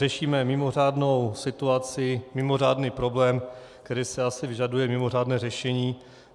Řešíme mimořádnou situaci, mimořádný problém, který si asi vyžaduje mimořádné řešení.